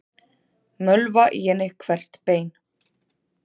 Mölva í henni hvert bein.